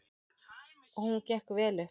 Og hún gekk vel upp.